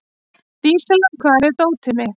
Dísella, hvar er dótið mitt?